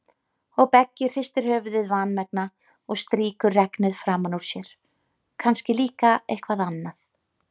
Og Beggi hristir höfuðið vanmegna og strýkur regnið framan úr sér, kannski líka eitthvað annað.